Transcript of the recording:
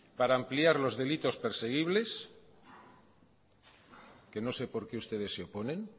para ampliar los delitos perseguibles que no sé por qué ustedes se oponen